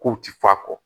Kow ti fɔ a kɔ